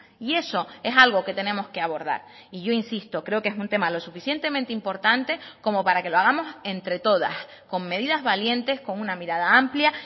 y eso es algo que tenemos que abordar y yo insisto creo que es un tema lo suficientemente importante como para que lo hagamos entre todas con medidas valientes con una mirada amplia